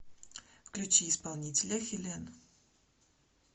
включи исполнителя хелен